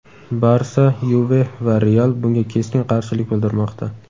"Barsa", "Yuve" va "Real" bunga keskin qarshilik bildirmoqda.